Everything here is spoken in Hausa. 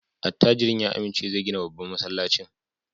Attajirin ya amince zai gina babban masallacin.